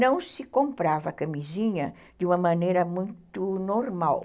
Não se comprava camisinha de uma maneira muito normal.